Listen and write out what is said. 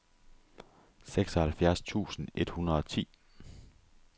seksoghalvfjerds tusind et hundrede og ti